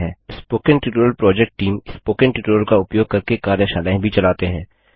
spoken tutorial project team spoken tutorial का उपयोग करके कार्यशालाएँ भी चलाते हैं